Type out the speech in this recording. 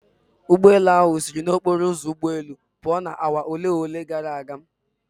Ụgbọelu ahụ siri n'okporo ụzọ ụgbọelu pụo na awa ole na ole gara aga.